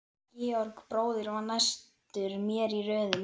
Georg bróðir var næstur mér í röðinni.